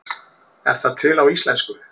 Er það til á íslensku?